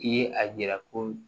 I ye a yira ko